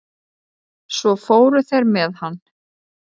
Svo fóru þeir með hann.